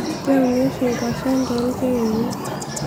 keuni oshi nkuashen toolkererin